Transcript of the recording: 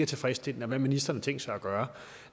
tilfredsstillende og hvad ministeren har tænkt sig gøre